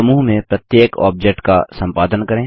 समूह में प्रत्येक ऑब्जेक्ट का सम्पादन करें